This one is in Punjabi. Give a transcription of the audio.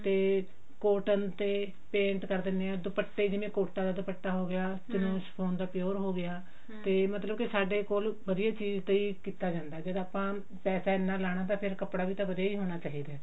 ਤੇ cotton ਤੇ paint ਕਰ ਦਿੰਨੇ ਆ ਦੁਪੱਟਾ ਜਿਵੇਂ ਕੋਟਾ ਦਾ ਦੁਪੱਟਾ ਹੋਗਿਆ ਦਾ pure ਹੋਗਿਆ ਕਿ ਮਤਲਬ ਸਾਡੇ ਕੋਲ ਵੀ ਇਹ ਚੀਜ਼ ਤੇ ਹੀ ਕਿੱਤਾ ਜਾਂਦਾ ਜਦੋਂ ਆਪਾਂ ਪੈਸਾ ਇੰਨਾ ਲਾਉਣਾ ਤਾਂ ਫ਼ੇਰ ਕੱਪੜਾ ਵੀ ਵਧੀਆ ਹੋਣਾ ਚਾਹੀਦਾ